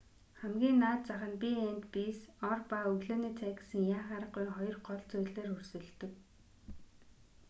хамгийн наад зах нь b&bs ор ба өглөөний цай гэсэн яах аргагүй хоёр гол зүйлээр өрсөлддөг